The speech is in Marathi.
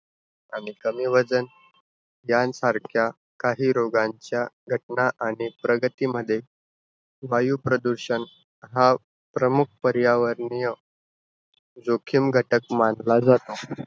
आणि कमी वजन यांसारख्या काही रोगांच्या घटना आणि प्रगतीमध्ये वायुप्रदूषण हा प्रमुख पर्यावरणीय जोखीम घटक मानला जातो.